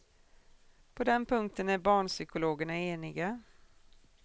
På den punkten är barnpsykologerna eniga.